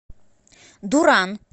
дуран